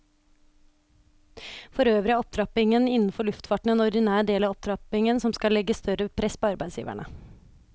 Forøvrig er opptrappingen innenfor luftfarten en ordinær del av opptrappingen som skal legge større press på arbeidsgiverne.